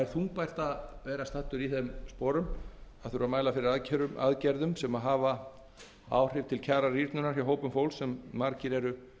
þungbært að vera staddur í þeim sporum að þurfa að mæla fyrir aðgerðum sem rýra kjör hjá hópum fólks þar sem margir eru